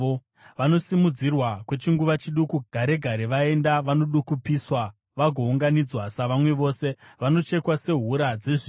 Vanosimudzirwa kwechinguva chiduku, gare gare vaenda; vanodukupiswa vagounganidzwa savamwe vose, vanochekwa sehura dzezviyo.